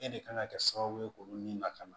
E de kan ka kɛ sababu ye k'olu ni lakana